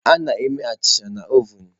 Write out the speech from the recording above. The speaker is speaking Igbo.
A na-eme achịcha na ovun.